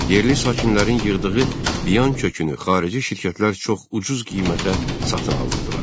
Yerli sakinlərin yığdığı biyan kökünü xarici şirkətlər çox ucuz qiymətə satın alırdılar.